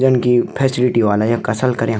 जन की फैसिलिटी ह्वाला यख असल कर्यां।